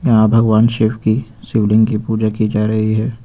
यहां भगवान शिव की शिवलिंग की पूजा की जा रही है।